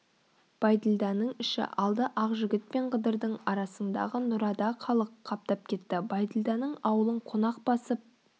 бәйділданың іші алды ақжігіт пен қыдырдың арасыңдағы нұрада халық қаптап кетті бәйділданың ауылын қонақ басып